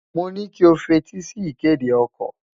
Mo ní kí o f’etí sí ìkéde okò.